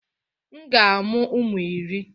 M ga-amụ ụmụ iri.